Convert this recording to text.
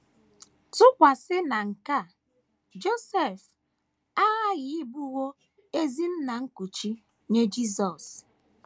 Tụkwasị na nke a, Josef aghaghị ịbụwo ezi nna nkuchi nye Jisọs.